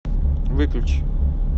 выключи